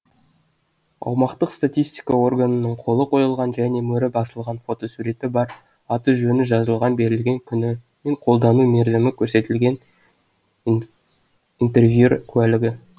аумақтық статистика органының қолы қойылған және мөрі басылған фотосуреті бар аты жөні жазылған берілген күні мен қолданылу мерзімі көрсетілген интервьер куәлігі